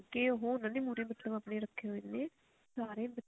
ਕੇ ਉਹ ਉਹਨਾ ਦੇ ਮੁਹਰੇ ਮਤਲਬ ਰੱਖੇ ਹੋਏ ਨੇ ਸਾਰੇ